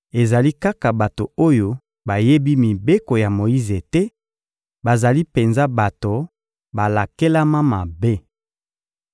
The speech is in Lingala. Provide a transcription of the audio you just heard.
Ezali kaka bato oyo bayebi mibeko ya Moyize te, bazali penza bato balakelama mabe!